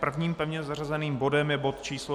Prvním pevně zařazeným bodem je bod číslo